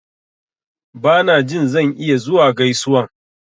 Ba na jin zan iya zuwa gaisuwan.